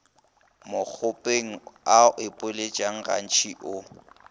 mokgopeng a ipoeletša gantšintši o